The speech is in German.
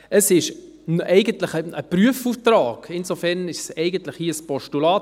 Es ist ein Prüfauftrag, insofern ist es hier eigentlich ein Postulat.